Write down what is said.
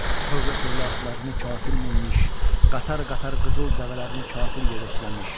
Tövlə-tövlə atlarını kafir minmiş, qatar-qatar qızıl dəvələrini kafir yəhəkləmiş.